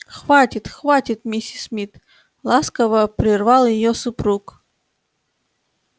хватит хватит миссис мид ласково прервал её супруг